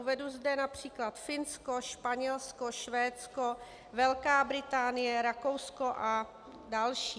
Uvedu zde například Finsko, Španělsko, Švédsko, Velká Británie, Rakousko a další.